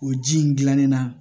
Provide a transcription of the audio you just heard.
O ji in gilannen na